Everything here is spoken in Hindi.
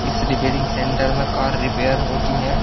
इस रिपेयरिंग सेंटर में कार रिपेयर होती है।